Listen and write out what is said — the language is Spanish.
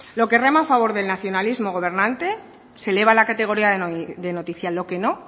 lo que rema a favor del nacionalismo gobernante se eleva a la categoría de noticia lo que no